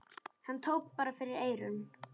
Hann tók bara fyrir eyrun!